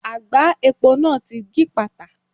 Àgbá epo náà ti gípàtà.